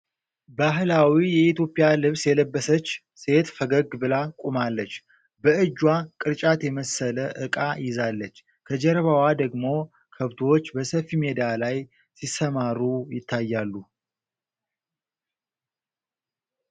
ባህላዊ የኢትዮጵያ ልብስ የለበሰች ሴት ፈገግ ብላ ቆማለች። በእጇ ቅርጫት የመሰለ ዕቃ ይዛለች። ከጀርባዋ ደግሞ ከብቶች በሰፊ ሜዳ ላይ ሲሰማሩ ይታያሉ።